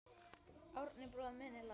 Árni bróðir minn er látinn.